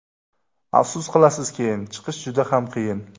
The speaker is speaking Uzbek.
Afsus qilasiz keyin, Chiqish juda ham qiyin.